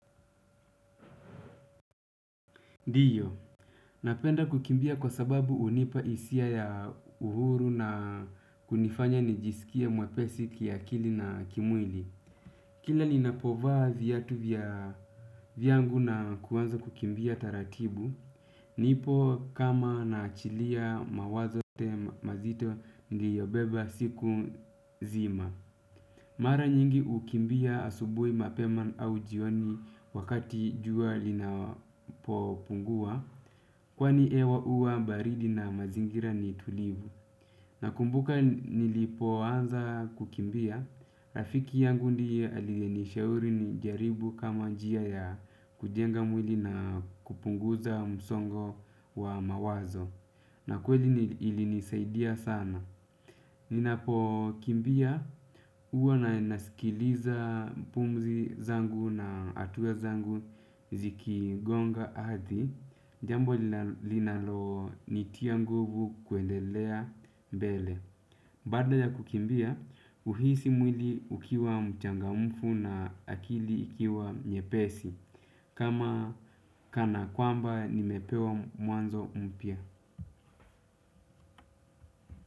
Ndiyo, napenda kukimbia kwa sababu hunipa hisia ya uhuru na kunifanya nijisikie mwepesi kiakili na kimwili. Kila ninapovaa viatu vyangu na kuanza kukimbia taratibu, nipo kama naachilia mawazo yote mazito niliyobeba siku zima. Mara nyingi hukimbia asubui mapema au jioni wakati jua linapopungua, kwani hewa huwa baridi na mazingira ni tulivu. Nakumbuka nilipo anza kukimbia, rafiki yangu ndiyr aliyenishauri nijaribu kama njia ya kujenga mwili na kupunguza msongo wa mawazo. Na kweli ili nisaidia sana. Ninapo kimbia huwa na nasikiliza pumzi zangu na hatua zangu zikigonga ardhi. Jambo linalonitia nguvu kuendelea mbele. Baada ya kukimbia, uhisi mwili ukiwa mchangamfu na akili ikiwa nyepesi. Kama kana kwamba nimepewa mwanzo mpya.